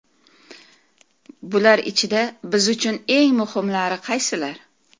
Bular ichida biz uchun eng muhimlari qaysilar?